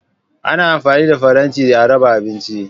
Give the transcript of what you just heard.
Ana amfani da faranti a raba abinci.